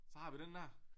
Så har vi den der